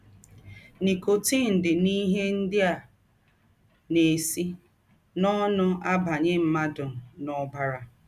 Nikọtin dị n’ihe ndị a na - esi n’ọnụ abanye mmadụ n’ọbara.